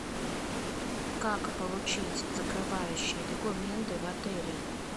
как получить закрывающие документы в отеле